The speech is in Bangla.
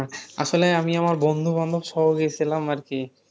আসলে আমি আমার বন্ধুবান্ধব সহ গেছিলাম আর কি